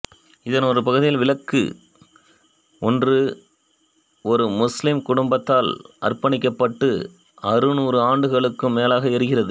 இதன் ஒரு பகுதியில் விளக்கு ஒன்று ஒரு முஸ்லீம் குடும்பத்தால் அர்ப்பணிக்கப்பட்டு அறுநூறு ஆண்டுகளுக்கும் மேலாக எரிகிறது